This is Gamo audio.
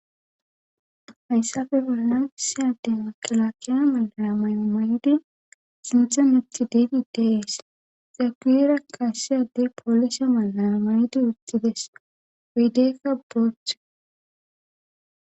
Hayssafe felalansiyade wakilakiya mala may7o maydi sinhon itti didi dees zapira kassiyade poolise malaa maydi utxides wiideekka booche.